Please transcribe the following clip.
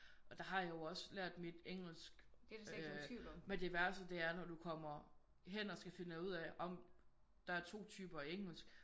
Og der har jeg jo også lært mit engelsk øh men det værste det er når du kommer hen og så finder ud af ej men der er 2 typer engelsk